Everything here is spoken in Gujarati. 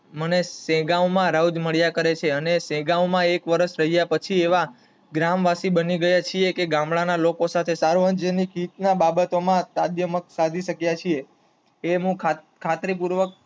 મને દહેગામ માં રાઉત મળ્યા કરે છે અને દહેગામ માં એક વર્ષ થઇ ગયાપછી ગ્રામવાસી બની ગયા છે. કે ગામડા ના લોકો સાથે સાર્વજનિક રીતે સાધ્યમાંત સાધી શક્ય છે તે હું ખાતરીપૂર્વક